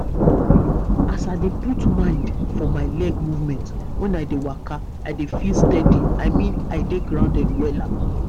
as i dey put mind for my leg movement when i dey waka i dey feel steady i mean i dey grounded wella.